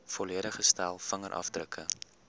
volledige stel vingerafdrukke